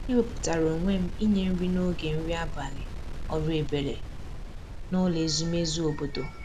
e wepụtara onwe m inye nri n'oge nri abalị ọrụ ebere n'ụlọ ezumezu obodo